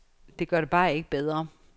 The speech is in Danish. Det gør det bare ikke bedre.